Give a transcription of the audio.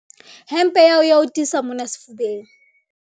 hempe ya hao e a o tiisa mona sefubeng